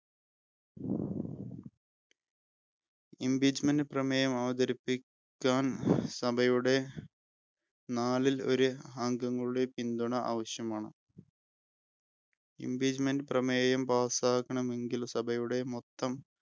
Impeachment പ്രമേയം അവതരിപ്പിക്കാൻ സഭയുടെ നാലിലൊരു അംഗങ്ങളുടെ പിന്തുണ ആവശ്യമാണ്. Impeachment പ്രമേയം pass ആക്കണമെങ്കിൽ സഭയുടെ മൊത്തം